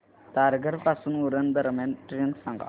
तारघर पासून उरण दरम्यान ट्रेन सांगा